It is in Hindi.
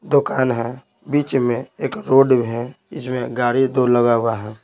दुकान है बीच में एक रोड है इसमें गाड़ी तो लगा हुआ है।